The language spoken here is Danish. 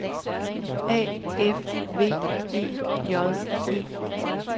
A F V E J E